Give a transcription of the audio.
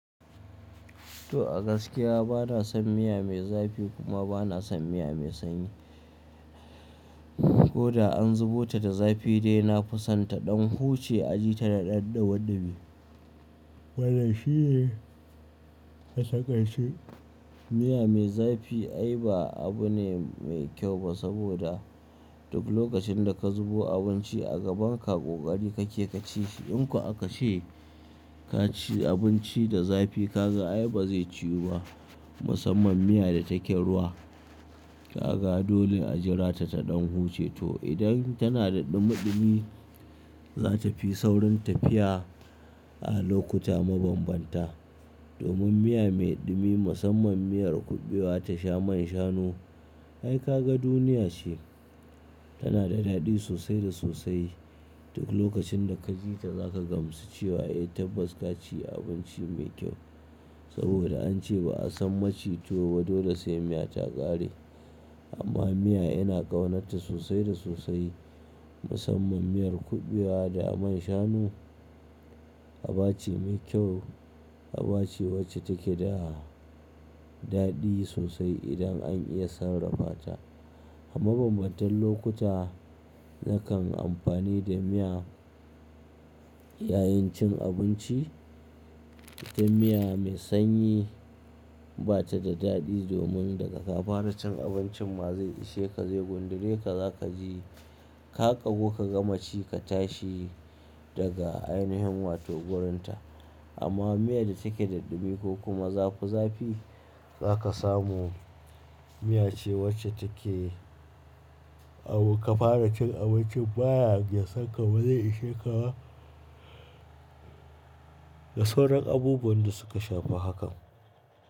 To a gaskiya bana son miya mai zafi kuma bana son miya mai sanyi. Ko da an zubo ta da zafi dai na fi son ta ɗan huce aji ta da ɗan ɗumiɗumi. Wannan shi ne a taƙaice? Miya mai zafi ai ba abu bane mai kyau ba saboda duk lokacin da ka zubo abinci a gaban ka ƙoƙari kake ka ci shi. In kuwa aka ce ka ci abinci da zafi ka ga ai ba zai ciwu ba musamman miya da take ruwa. Ka ga dole a jira ta ta ɗan huce to idan tana da ɗumiɗumi za ta fi saurin tafiya a lokuta mabambanta. Domin miya mai ɗumi musamman miyar kuɓewa ta sha man shanu ai ka ga duniya ce. Tana da daɗi sosai da sosai. Duk lokacin da ka ci ta za ka gamsu cewa ai tabbas ka ci abinci mai kyau. Saboda an ce ba a san maci tuwo ba dole sai miya ta ƙare. Amma miya yana ƙaunarta sosai da sosai musamman miyar kuɓewa da man shanu. Aba ce mai kyau aba ce wacce take da daɗi sosai idan an iya sarrafa ta. A mabambantan lokuta zakan amfani da miya yayin cin abinci. Dan miya mai sanyi ba ta da daɗi domin daga ka fara cin abincin ma zai ishe ka zai gundure ka za ka ji ka ƙagu ka gama ci ka tashi daga ainihin wato wurinta. Amma miya da take da ɗumi ko kuma zafi zafi za ka samu miya ce wacce take kamin ka fara cin abincin ba sankamar ba zai ishe ka ba. Da sauran abubuwan da suka shafa hakan.